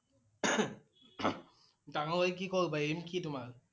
ডাঙৰ হৈ কি কৰিব? aim কি তোমাৰ?